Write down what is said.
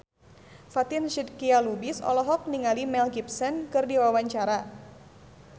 Fatin Shidqia Lubis olohok ningali Mel Gibson keur diwawancara